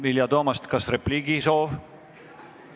Vilja Toomast, kas repliigisoov?